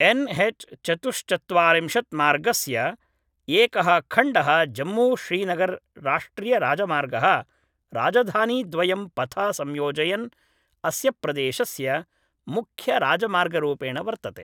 N H चतुश्चत्वारिंशत् मार्गस्य एकः खण्डः जम्मूश्रीनगर् राष्ट्रियराजमार्गः राजधानीद्वयं पथा संयोजयन् अस्य प्रदेशस्य मुख्यराजमार्गरूपेण वर्तते